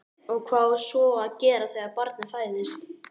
Og hvað á svo að gera þegar barnið fæðist?